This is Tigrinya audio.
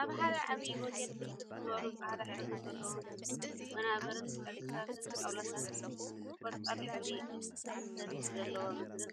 አብ ሓደ ዓብይ ሆቴል ብርክት ዝበሉ ፃዕዳ ሕብሪ ዘለዎም ወናብርን ጨርቂታትን ጣውላታትን አብ ቆፃል ሕብሪ ሰቲ ዘለዎ ምድሪን